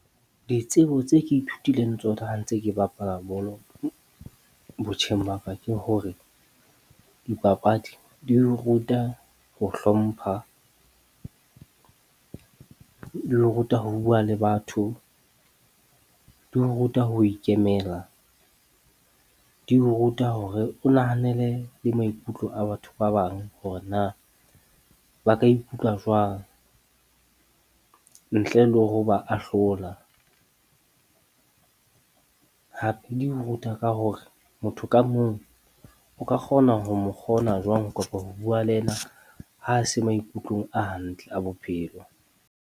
Ditsebo tse ke ithutileng tsona ha ntse ke bapala bolo botjheng ba ka ke hore, dipapadi di ho ruta ho hlompha, di o ruta ho bua le batho. Di ruta ho ikemela, di ho ruta hore o nahanele le maikutlo a batho ba bang, hore na ba ka ikutlwa jwang, ntle le hore o ba ahlola. Hape di ruta ka hore motho ka mong o ka kgona ho mo kgona jwang. Kopa ho bua le ena ha se maikutlong a hantle a bophelo.